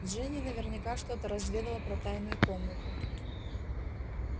джинни наверняка что-то разведала про тайную комнату